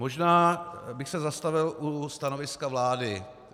Možná bych se zastavil u stanoviska vlády.